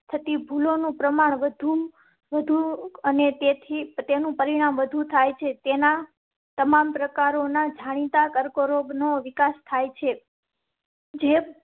થતી ભૂલો નું પ્રમાણ વધુ અને તેથી તેનું પરિણામ વધુ થાય છે. તેના તમામ પ્રકાર ના જાણીતા કર્કરોગ નો વિકાસ થાય છે. જે